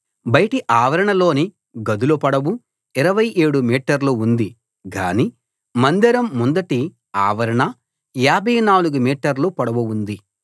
బయటి ఆవరణలోని గదుల పొడవు 27 మీటర్లు ఉంది గాని మందిరం ముందటి ఆవరణ 54 మీటర్ల పొడవు ఉంది